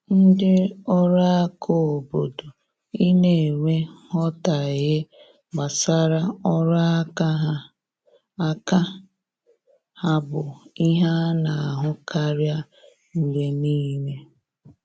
Ndị ọrụ aka obodo I na enwe nghotahie gbasara ọrụ aka ha aka ha bụ ihe ana ahụ karịa mgbe niile